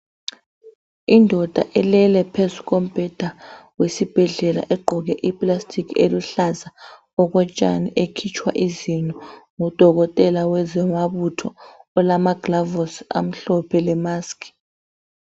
Indoda ilele phezu kombheda wesibhedlela egqoke iplastic eluhlaza okotshani ekhitshwa izinyo ngudokotela wezamabutho olamaglavosi amhlophe lemask.